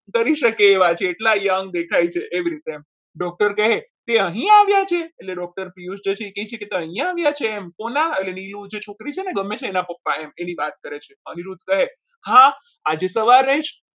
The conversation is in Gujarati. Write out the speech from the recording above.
લગ્ન કરી શકે એવા છે એટલા young દેખાય છે એવી રીતે આમ doctor કહે તે અહીં આવ્યા છે એ કહે છે કે એ અહીંયા આવ્યા છે એમ કોના એટલે નીલુ જે છોકરી છે ને જે ગમે છે એના પપ્પા એમ એની વાત કરે છે અનિરુદ્ધ કહે હા આજે સવારે જ